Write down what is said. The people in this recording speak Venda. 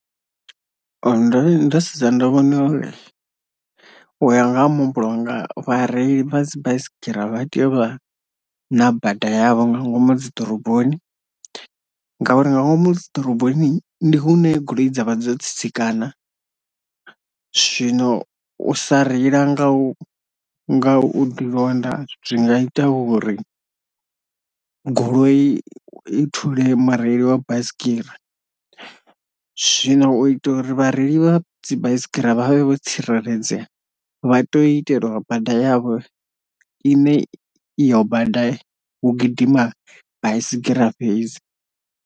Ndori ndo sedza ndo vhona uri uya nga ha muhumbulo wanga vha reili vha dzi baisigira vha tea u vha na bada yavho nga ngomu dzi ḓoroboni ngauri nga ngomu dzi ḓoroboni ndi hune goloi dzavha dzo tsitsikana zwino u sa reila nga u nga u ḓi londa zwi nga ita uri goloi i thule mureili wa basigira, zwino u itea uri vhareili vha dzi baisigira vha vhe vho tsireledzea vha to itelwa bada yavho ine iyo bada hu gidima baisigira fhadzi